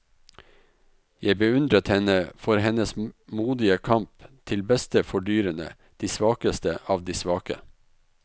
Jeg beundret henne for hennes modige kamp til beste for dyrene, de svakeste av de svake.